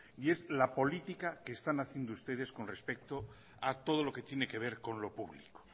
y es la política que están haciendo ustedes con respecto a todo lo que tiene que ver con lo público